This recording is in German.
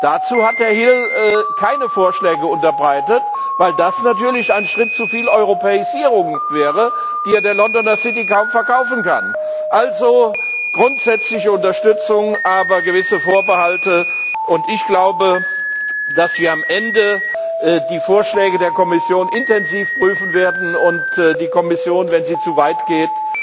Dazu hat Herr Hill keine Vorschläge unterbreitet, weil das natürlich ein Schritt zu viel Europäisierung wäre, die er der Londoner City kaum verkaufen kann. Also grundsätzliche Unterstützung, aber gewisse Vorbehalte. Ich glaube, dass wir am Ende die Vorschläge der Kommission intensiv prüfen werden und die Kommission wenn sie zu weit